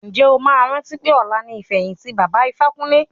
Ǹjẹ́ o máa rántí pé ọ̀la ni ìfẹ̀yìntì baba Ifákúnle?